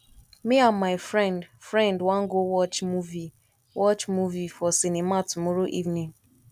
me and my friend friend wan go watch movie watch movie for cinema tomorrow evening